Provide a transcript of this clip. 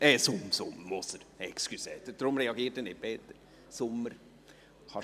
Es ist Peter Sommer, deshalb reagiert Peter Moser nicht.